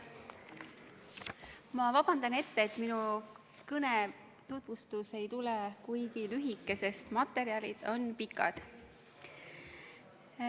Ma vabandan ette, et minu kõne tutvustus ei tule kuigi lühike, sest materjalid on mahukad.